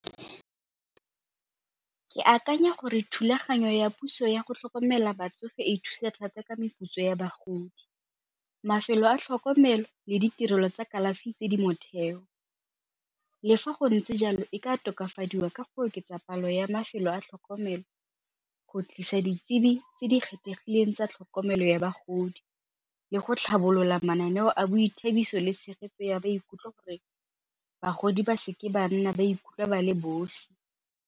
Ke akanya gore thulaganyo ya puso yago tlhokomela batsofe e thusa thata ka meputso ya bagodi. Mafelo a tlhokomelo le ditirelo tsa kalafi tse di motheo, le fa go ntse jalo e ka tokafadiwa ka go oketsa palo ya mafelo a tlhokomelo go tlisa ditsebi tse di kgethegileng tsa tlhokomelo ya bagodi le go tlhabolola mananeo a boithabiso le tshegetso ya maikutlwa gore bagodi ba seke ba nna ba ikutlwa ba le bosi.